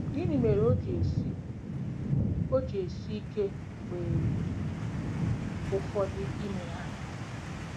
Gịnị mere o ji esi o ji esi ike mgbe ụfọdụ ime ha?